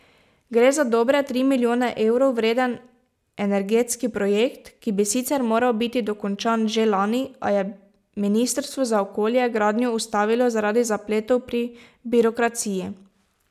Gre za dobre tri milijone evrov vreden energetski projekt, ki bi sicer moral biti dokončan že lani, a je ministrstvo za okolje gradnjo ustavilo zaradi zapletov pri birokraciji.